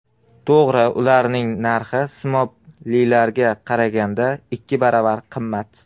To‘g‘ri ularning narxi simoblilarga qaraganda ikki baravar qimmat.